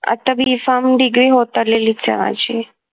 आता B farm degree होत आलेलीच आहे माझी